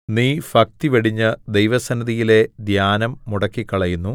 നീ ഭക്തി വെടിഞ്ഞ് ദൈവസന്നിധിയിലെ ധ്യാനം മുടക്കിക്കളയുന്നു